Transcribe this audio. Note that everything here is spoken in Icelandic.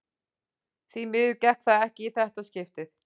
Því miður gekk það ekki í þetta skiptið.